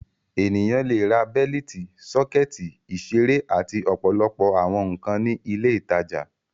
Ènìyàn le ra bẹ́lítì, sọ́kẹ́tì, ìṣeré àti ọ̀pọ̀lọpọ̀ àwọn nǹkan ní ilé-ìtajà.